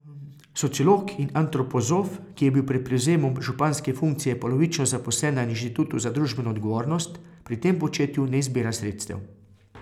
Sociolog in antropozof, ki je bil pred prevzemom županske funkcije polovično zaposlen na Inštitutu za družbeno odgovornost, pri tem početju ne izbira sredstev.